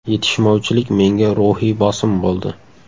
Yetishmovchilik menga ruhiy bosim bo‘ldi.